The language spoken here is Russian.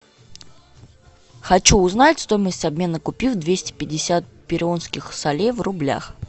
хочу узнать стоимость обмена купюр двести пятьдесят перуанских солей в рублях